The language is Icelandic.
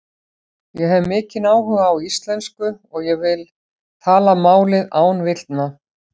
Ég hef mikinn áhuga á íslensku og ég vil tala málið án villna.